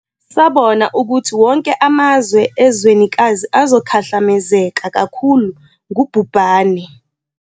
Sabona ukuthi wonke amazwe ezwenikazi azokhahlamezeka kakhulu ngubhubhane.